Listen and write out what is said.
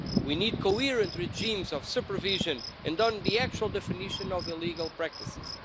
We need coherent regimes of supervision and on the actual definition of illegal practices.